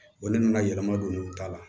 Wa ne nana yɛlɛma don u da la